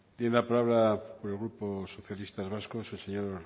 tiene la palabra por el grupo socialistas vascos el señor